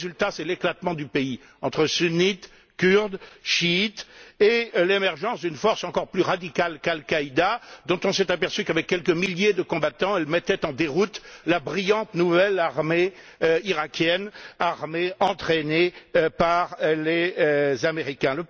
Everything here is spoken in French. Le résultat, c'est l'éclatement du pays entre Sunnites, Kurdes, Chiites et l'émergence d'une force encore plus radicale qu'Al Qaïda, dont on s'est aperçu qu'avec quelques milliers de combattants, elle mettait en déroute la brillante nouvelle armée iraquienne, armée entraînée par les Américains.